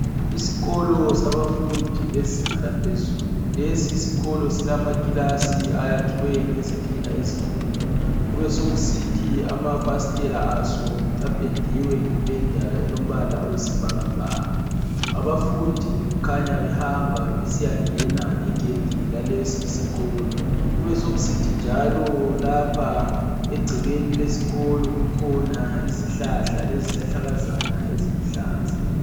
Isikolo sabafundi bezinga laphezulu. Lesi isikolo silamakilasi ayakhiweyo ngezitina ezibomvu. Kubesokusithi amafasitela aso apendiwe ngependa elombala oyisibhakabhaka. Abafundi kukhanya behamba besiyangena ngegedi lalesi isikolo. Kubesokusithi njalo lapha egcekeni lesikolo kukhona izihlahla lezihlahlakazana eziluhlaza.